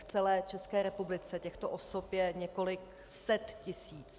V celé České republice těchto osob je několik set tisíc.